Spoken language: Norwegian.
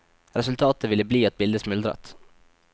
Resultatet ville bli at bildet smuldret.